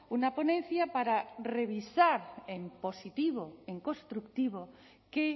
una ponencia para revisar en positivo en constructivo qué